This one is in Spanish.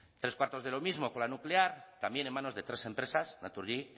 tres cuartos de lo mismo con la nuclear también en manos de tres empresas naturgy